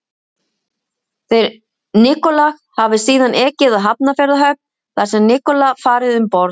Þeir Nikolaj hafi síðan ekið að Hafnarfjarðarhöfn, þar hafi Nikolaj farið um borð.